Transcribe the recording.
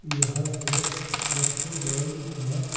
यहां पे रेस्टुडेंट है।